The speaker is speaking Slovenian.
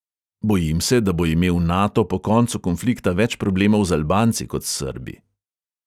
Bojim se, da bo imel nato po koncu konflikta več problemov z albanci kot s srbi.